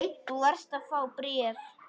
Þú varst að fá bréf.